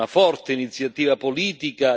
La Commissione ha fatto tanto